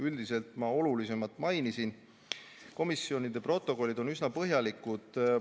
Üldiselt ma olulisemat mainisin ja komisjoni protokollid on üsna põhjalikud.